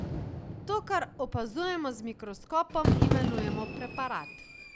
To, kar opazujemo z mikroskopom, imenujemo preparat.